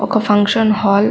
ఒక function hall --